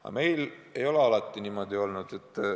Aga meil ei ole alati niimoodi olnud.